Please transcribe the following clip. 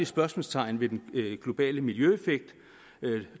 spørgsmålstegn ved den globale miljøeffekt